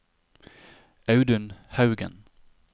Audun Haugen